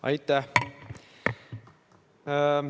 Aitäh!